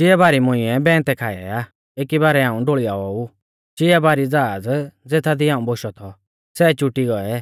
चिआ बारी मुंइऐ बैन्तै खाई आ एकी बारै हाऊं ढोल़ियाऔ ऊ चिआ बारी ज़हाज़ ज़ेथादी हाऊं बोशौ थौ सै चुटी गोऐ